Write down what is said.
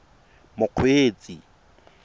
mokgweetsi